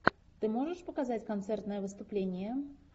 ты можешь показать концертное выступление